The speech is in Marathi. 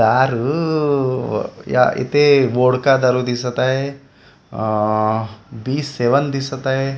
दारू इथे वोडका दारू दिसत आहे अ बी सेवन दिसत आहे.